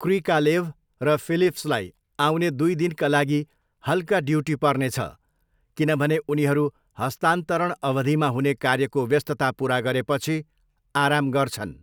Krikalev र फिलिप्सलाई आउने दुई दिनका लागि हल्का ड्युटी पर्नेछ, किनभने उनीहरू हस्तान्तरण अवधिमा हुने कार्यको व्यस्तता पुरा गरेपछि आराम गर्छन्।